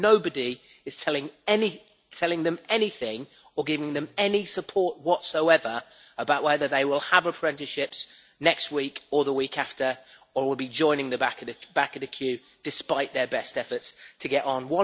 Nobody is telling them anything or giving them any support whatsoever about whether they will have apprenticeships next week or the week after or will be joining the back of the queue, despite their best efforts to get on.